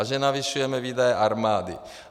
A že navyšujeme výdaje armády.